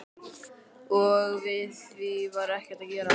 Og við því var ekkert að gera.